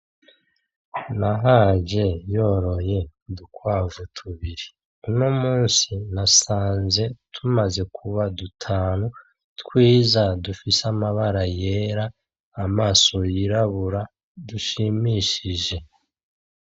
Nahaje yoroye udukwavu tubiri uno munsi nasanze tumaze kuba dutanu twiza dufise amabara yera amaso yirabura dushimishije.